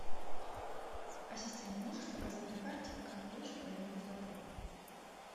ассистент можешь показать на карте как лучше проехать в отель